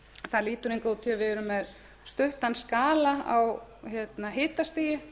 það lítur hingað út að við erum með stuttan skala á hitastigi